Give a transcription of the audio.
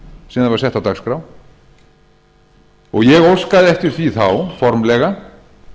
sem það var sett á dagskrá ég óskaði eftir því þá formlega